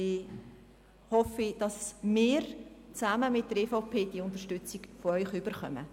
Ich hoffe, dass wir – zusammen mit der EVP – Ihre Unterstützung erhalten.